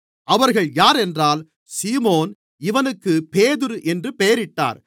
அவர்கள் யாரென்றால் சீமோன் இவனுக்குப் பேதுரு என்று பெயரிட்டார்